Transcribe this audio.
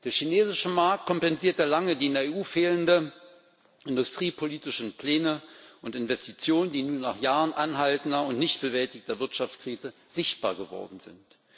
Der chinesische Markt kompensierte lange die in der EU fehlenden industriepolitischen Pläne und Investitionen, die nun nach Jahren anhaltender und nicht bewältigter Wirtschaftskrise sichtbar geworden sind.